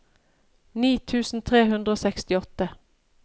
ni tusen tre hundre og sekstiåtte